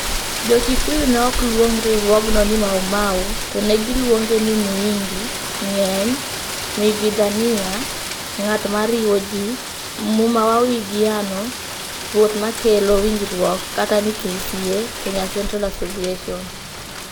Jo-Kikuyu ne ok luong riwruogno ni Maumau, to ne giluonge ni "Muingi" (ng'eny), "Muigwithania" (ng'at ma riwo ji), "Muma wa Uiguano" (ruoth ma kelo winjruok), kata ni KCA (Kenya Central Association.